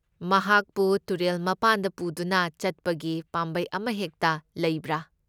ꯃꯍꯥꯛꯄꯨ ꯇꯨꯔꯦꯜ ꯃꯄꯥꯟꯗ ꯄꯨꯗꯨꯅ ꯆꯠꯄꯒꯤ ꯄꯥꯝꯕꯩ ꯑꯃꯍꯦꯛꯇ ꯂꯩꯕ꯭ꯔꯥ?